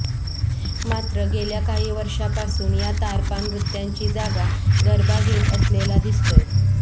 मात्र गेल्या काही वर्षांपासून या तारपा नृत्यांची जागा गरबा घेत असलेला दिसतोय